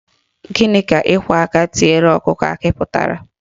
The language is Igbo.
Gịnị ka ịkwọ aka tiere ọkụkọ akị pụtara?